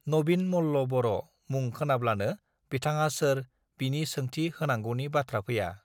नबिन मल्ल बर मुं खोनाब्लानो बिथाङा सोर बिनि सोंथि होनांगौनि बाथ्रा फैया